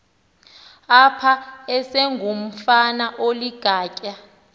apha esengumfana oligatya